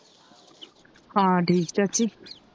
ਹਾਂ ਠੀਕ ਚਾਚੀ